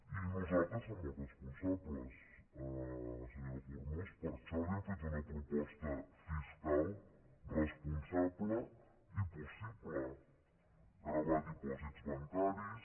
i nosaltres som els responsables senyora forns per això li hem fet una proposta fiscal responsable i possible gravar dipòsits bancaris